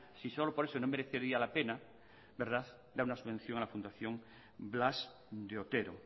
dar una subvención a la fundación blas de otero